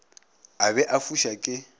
a be a fuša ke